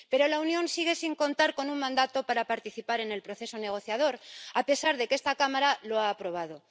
Pero la Unión sigue sin contar con un mandato para participar en el proceso negociador, a pesar de que esta Cámara lo ha aprobado.